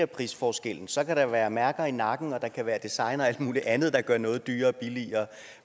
prisforskellen så kan der være mærker i nakken og der kan være design og alt muligt andet der gør noget dyrere billigere